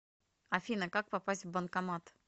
афина как попасть в банкомат